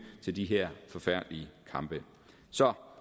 til de her forfærdelige kampe så